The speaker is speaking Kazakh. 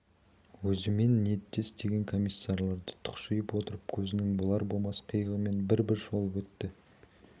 өзімен ниеттес деген комиссарларды тұқшиып отырып көзінің болар-болмас қиығымен бір-бір шолып өтті